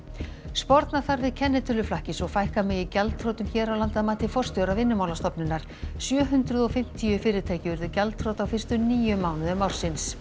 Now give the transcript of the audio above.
sporna þarf við kennitöluflakki svo fækka megi gjaldþrotum hér á landi að mati forstjóra Vinnumálastofnunar sjö hundruð og fimmtíu fyrirtæki urðu gjaldþrota á fyrstu níu mánuðum ársins